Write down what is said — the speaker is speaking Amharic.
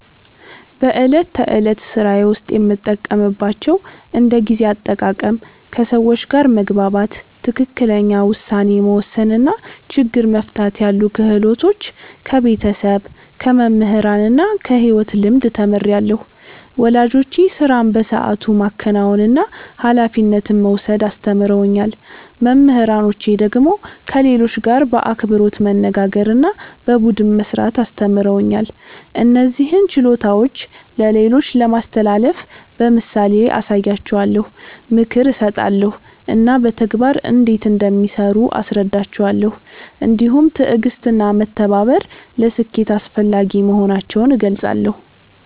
በዕለት ተዕለት ሥራዬ ውስጥ የምጠቀምባቸውን እንደ ጊዜ አጠቃቀም፣ ከሰዎች ጋር መግባባት፣ ትክክለኛ ውሳኔ መወሰን እና ችግር መፍታት ያሉ ክህሎቶች ከቤተሰብ፣ ከመምህራን እና ከሕይወት ልምድ ተምሬአለሁ። ወላጆቼ ሥራን በሰዓቱ ማከናወንና ኃላፊነት መውሰድ አስተምረውኛል። መምህራኖቼ ደግሞ ከሌሎች ጋር በአክብሮት መነጋገርና በቡድን መሥራት አስተምረውኛል። እነዚህን ችሎታዎች ለሌሎች ለማስተላለፍ በምሳሌ አሳያቸዋለሁ፣ ምክር እሰጣለሁ እና በተግባር እንዴት እንደሚሠሩ አስረዳቸዋለሁ። እንዲሁም ትዕግሥትና መተባበር ለስኬት አስፈላጊ መሆናቸውን እገልጻለሁ።